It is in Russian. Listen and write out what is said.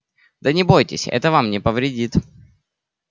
да не бойтесь это вам не повредит